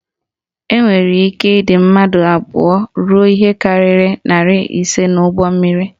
Enwere ike ịdị mmadụ abụọ ruo ihe karịrị narị ise n'ụgbọmmiri